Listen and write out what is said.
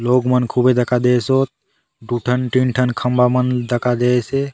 लोक मन खुबे दखा देय सोत दुय ठन तीन ठन खम्बा मन दखा देयसे।